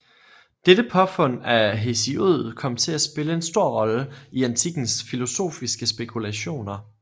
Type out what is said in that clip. Dette påfund af Hesiod kom til at spille en stor rolle i antikkens filosofiske spekulationer